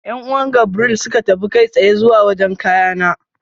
Yan'uwan Gabriel suka tafi kai tsaye zuwa wajen kayana.